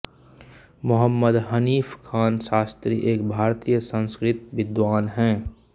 मोहम्मद हनीफ़ ख़ान शास्त्री एक भारतीय संस्कृत विद्वान हैं